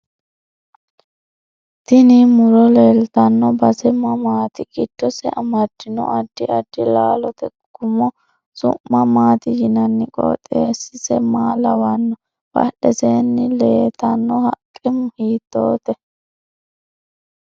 Tini muro leeltanno base mamaati giddose amadino addi addi laalote gumo su'ma maati yinanni qooxewsise maa lawanohe badheseeni leetanno haqqe hiitoote